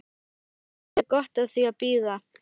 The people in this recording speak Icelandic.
Indverjinn hafði gott af því að bíða.